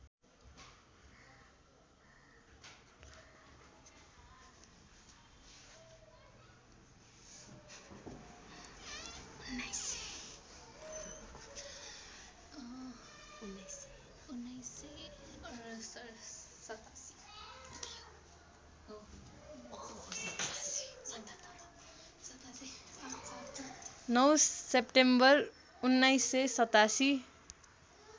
९ September १९८७